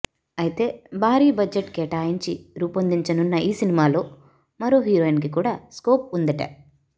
అయితే భారీ బడ్జెట్ కేటాయించి రూపొందించనున్న ఈ సినిమాలో మరో హీరోయిన్కి కూడా స్కోప్ ఉందట